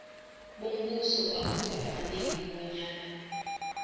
bombuso akukafaneli bonyana